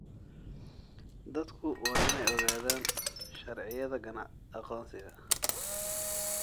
Dadku waa inay ogaadaan sharciyada aqoonsiga.